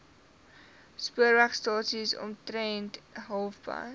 spoorwegstasie omtrent halfpad